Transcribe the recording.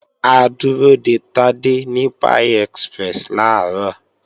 A dúró de Tádé ní Pie Express làárọ̀